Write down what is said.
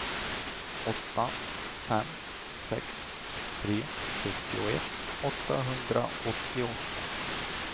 åtta fem sex tre sjuttioett åttahundraåttioåtta